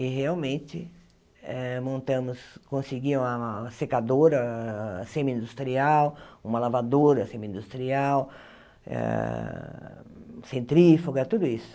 E realmente, eh montamos consegui uma secadora semi-industrial, uma lavadora semi-industrial, ah centrífuga, tudo isso.